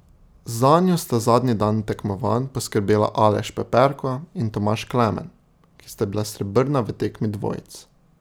Zanjo sta zadnji dan tekmovanj poskrbela Aleš Peperko in Tomaž Klemen, ki sta bila srebrna v tekmi dvojic.